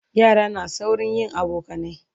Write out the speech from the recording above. yara na saurin yin abokanai